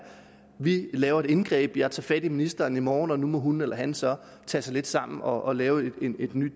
vi laver et indgreb jeg tager fat i ministeren i morgen og nu må hun eller han så tage sig lidt sammen og lave en ny